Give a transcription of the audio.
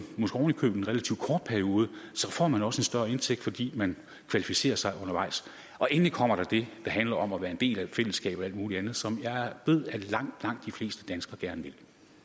måske oven i købet en relativt kort periode så får man også en større indtægt fordi man kvalificerer sig undervejs og endelig kommer der det der handler om at være en del af et fællesskab og alt mulig andet som jeg ved langt langt de fleste danskere gerne